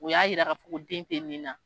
O y'a yira ka fɔ ko den tɛ nin na.